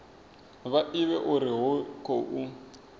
vha ivhe uri hu khou